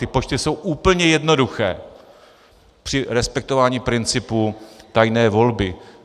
Ty počty jsou úplně jednoduché při respektování principu tajné volby.